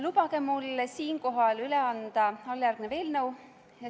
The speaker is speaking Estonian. Lubage mul siinkohal üle anda alljärgnev eelnõu.